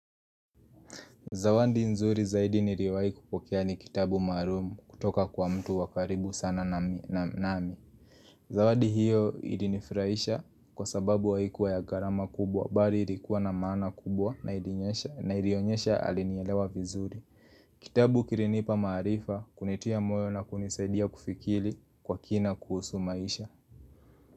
Zawandi nzuri zaidi niriwahi kupokea ni kitabu maarumu kutoka kwa mtu wa karibu sana nami nami Zawandi hiyo ilinifurahisha kwa sababu haikuwa ya gharama kubwa bari irikuwa na maana kubwa na ilinyesha na ilionyesha alinielewa vizuri Kitabu kirinipa maarifa kunitia moyo na kunisaidia kufikiri kwa kina kuhusu maisha.